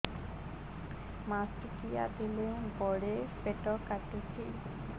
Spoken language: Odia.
ମାସିକିଆ ବେଳେ ବଡେ ପେଟ କାଟୁଚି